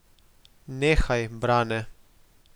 Nehaj, Brane.